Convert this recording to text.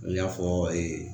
N y'a fɔ